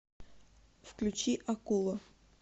включи акула